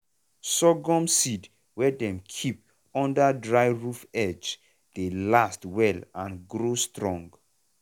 sorghum seed wey dem keep under dry roof edge dey last well and grow strong.